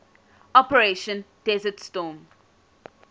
operation desert storm